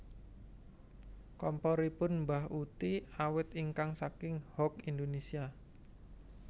Komporipun mbah uti awet ingkang saking Hock Indonesia